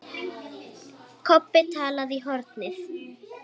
Kobbi talaði í hornið.